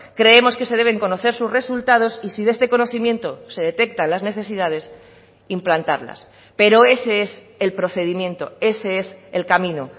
creemos que se deben conocer sus resultados y si de este conocimiento se detecta las necesidades implantarlas pero ese es el procedimiento ese es el camino